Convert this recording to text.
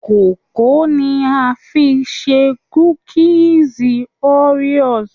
kókó ni a fi ṣe kúkísí Oreos.